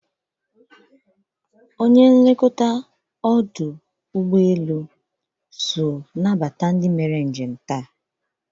Onye nlekọta Anambra State International Cargo Airport so anabata ndị taa.